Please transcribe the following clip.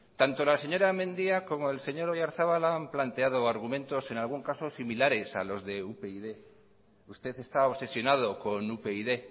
tanto la señora mendia como el señor oyarzabal han planteado argumentos en algún caso similares a los de upyd usted está obsesionado con upyd